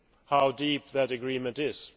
how deep that agreement is.